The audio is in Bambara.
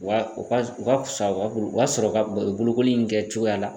Wa u ka u ka fisa wa u b'a sɔrɔ ka bolokoli in kɛ cogoya la.